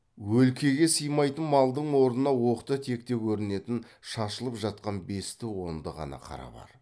өлкеге сыймайтын малдың орнына оқта текте көрінетін шашылып жатқан бесті онды ғана қара бар